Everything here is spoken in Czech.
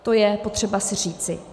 To je potřeba si říci.